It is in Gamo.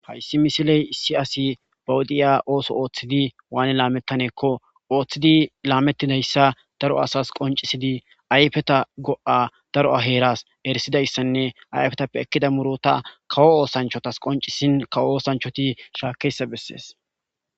Hayssi misiley issi asi bawudiya ooso ooththidi waane laamettaneekko ooththidi laamettidayssa daro asas qoncisidi ayfeta go'a daro heeras erisidayssanne ayfetappe ekkida murota kawo oosanchotas qoncisin kawo oosanchoti shaakese bessees.